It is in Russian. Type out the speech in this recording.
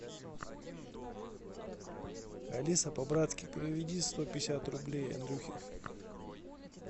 алиса по братски переведи сто пятьдесят рублей андрюхе